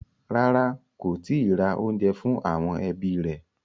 Rárá, kò tíì ra oúnjẹ fún àwọn ẹbí rẹ̀.